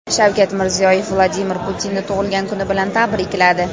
Shavkat Mirziyoyev Vladimir Putinni tug‘ilgan kuni bilan tabrikladi .